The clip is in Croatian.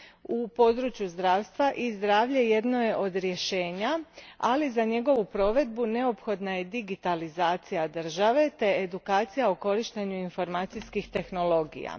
U području zdravstva e zdravlje jedno je od rješenja, ali za njegovu provedbu neophodna je digitalizacija države te edukacija o korištenju informacijskih tehnologija.